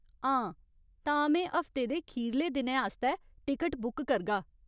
हां, तां में हफ्ते दे खीरले दिनै आस्तै टिकट बुक करगा।